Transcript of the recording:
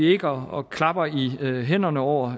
ikke og klapper i hænderne over